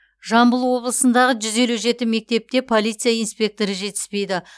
жамбыл облысындағы жүз елу жеті мектепте полиция инспекторы жетіспейді